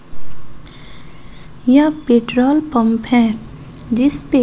यह petrol pump है जिसपे--